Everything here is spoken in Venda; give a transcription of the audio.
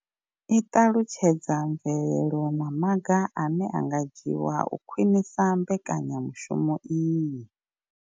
I ṱalutshedza mvelelo na maga ane a nga dzhiwa u khwinisa mbekanyamushumo iyi.